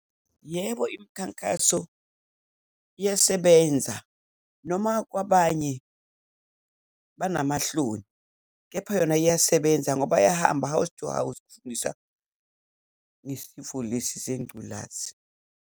Yebo, imikhankaso iyasebenza noma kwabanye banamahloni. Kepha yona iyasebenza, ngoba bayahamba house to house ifundisa ngesifo lesi sengculazi.